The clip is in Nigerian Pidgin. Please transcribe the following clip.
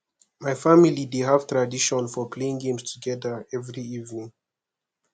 my family dey have tradition of playing games together every evening